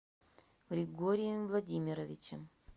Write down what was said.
григорием владимировичем